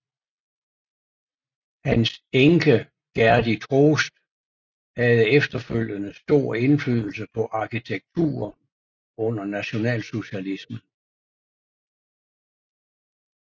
Hans enke Gerdy Troost havde efterfølgende stor indflydelse på arkitekturen under nationalsocialismen